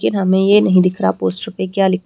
लेकिन हमें ये नहीं दिख रहा पोस्टर पे क्या लिख--